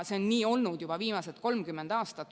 See on nii olnud juba viimased 30 aastat.